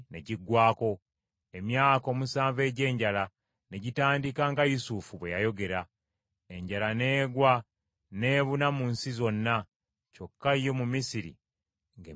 Emyaka omusanvu egy’enjala ne gitandika nga Yusufu bwe yayogera. Enjala n’egwa n’ebuna mu nsi zonna, kyokka yo mu Misiri nga emmere mweri.